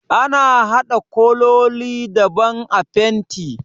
Ana haɗa kololi daban a fenti